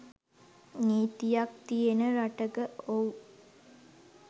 නීතියක් තියෙන රටක !ඔව්.